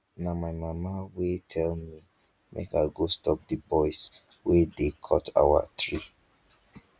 na my mama wey tell me make i go stop the boys wey dey cut our tree